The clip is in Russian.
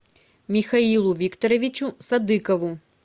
михаилу викторовичу садыкову